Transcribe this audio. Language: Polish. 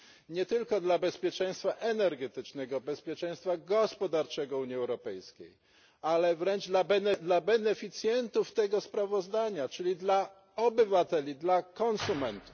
nie tylko dla bezpieczeństwa energetycznego, bezpieczeństwa gospodarczego Unii Europejskiej, ale wręcz dla beneficjentów tego sprawozdania, czyli dla obywateli, dla konsumentów.